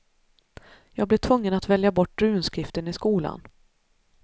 Jag blev tvungen att välja bort runskriften i skolan.